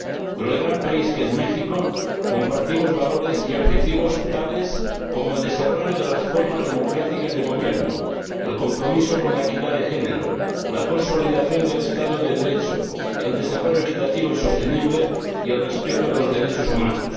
Con el gran país que es México compartimos valores y objetivos tales como el desarrollo de las formas democráticas de gobierno, el compromiso con la equidad de género, la consolidación del Estado de Derecho, el desarrollo equitativo y sostenible, y el respeto de los derechos humanos.